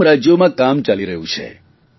તમામ રાજયોમાં કામ ચાલી રહ્યું છે